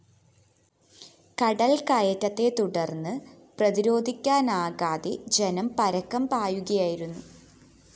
കടല്‍കയറ്റത്തെത്തുടര്‍ന്ന്‌ പ്രതിരോധിക്കാനാകാതെ ജനം പരക്കംപായുകയായിരുന്നു